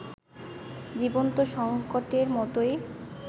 জীবন্ত সংকটের মতোই